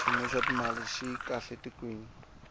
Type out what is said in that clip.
xiyimo xa timali xi kahle etikweni